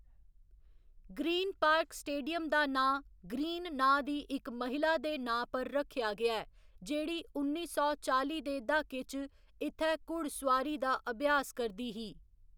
Green Park stadium दा नांऽ, Green नांऽ दी इक महिला दे नांऽ पर रक्खेआ गेआ ऐ जेह्‌‌ड़ी उन्नी सौ चाली दे द्हाके च इत्थै घुड़सोआरी दा अभ्यास करदी ही।